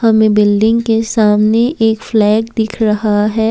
हमें बिल्डिंग के सामने एक फ्लैग दिख रहा है।